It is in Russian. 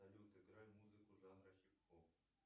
салют играй музыку жанра хип хоп